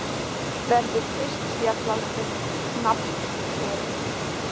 Verður fyrst fjallað um nafnbréfin.